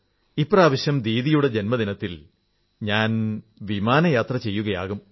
ഇപ്രാവശ്യം ദീദിയുടെ ജന്മദിനത്തിൽ ഞാൻ വിമാനത്തിൽ യാത്ര ചെയ്യുകയാകും